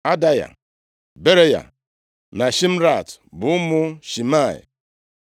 Adaya, Beraya na Shimrat bụ ụmụ Shimei.